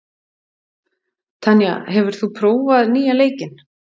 Tanya, hefur þú prófað nýja leikinn?